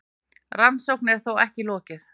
Rannsókn er þó ekki lokið.